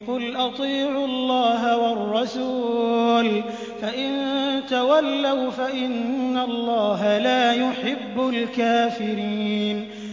قُلْ أَطِيعُوا اللَّهَ وَالرَّسُولَ ۖ فَإِن تَوَلَّوْا فَإِنَّ اللَّهَ لَا يُحِبُّ الْكَافِرِينَ